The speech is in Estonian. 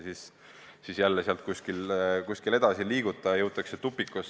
Ja sellisel juhul jälle kusagile edasi ei liiguta, jõutakse tupikusse.